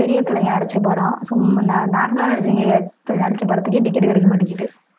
பெரிய தலைங்க நடிச்ச படம் சும்மா no~ normal ஆ நடிச்சவங்க நடிச்ச படத்துக்கே ticket கிடைக்க மாட்டேங்குது